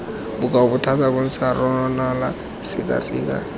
bokoa thata bontsha ranola sekaseka